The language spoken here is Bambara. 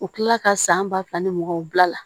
U kilala ka san ba fila ni muganw bila la